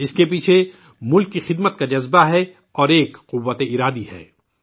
اسکے پیچھے ملک کی خدمت کا جذبہ ہے اور ایک عزم کی طاقت ہے